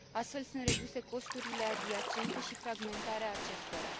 Astfel, sunt reduse costurile adiacente și fragmentarea acestora.